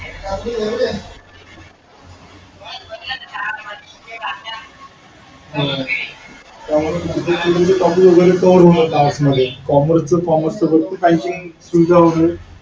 त्यामुळे सांगतो टॉपिक वैगरे cover होऊनच जातात. commerce च commerce च फक्त काहींची.